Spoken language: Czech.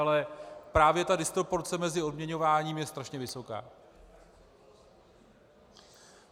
Ale právě ta disproporce mezi odměňováním je strašně vysoká.